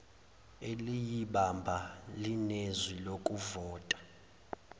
eliyibamba linezwi lokuvota